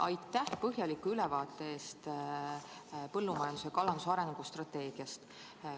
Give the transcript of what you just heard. Aitäh põhjaliku ülevaate eest põllumajanduse ja kalanduse arengukavast!